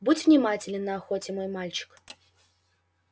будь внимателен на охоте мой мальчик